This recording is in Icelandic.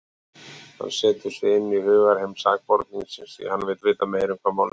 Hann setur sig inn í hugarheim sakborningsins, því hann vill vita um hvað málið snýst.